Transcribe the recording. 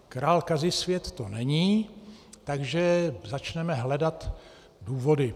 Král Kazisvět to není, takže začneme hledat důvody.